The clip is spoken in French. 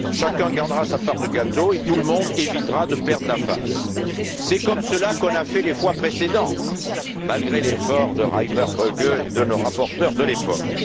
Chacun gardera sa part de gâteau et tout le monde évitera de perdre la face. C'est comme cela qu'on a fait les fois précédentes, malgré l'effort de Reimer Böge et de nos rapporteurs de l'époque.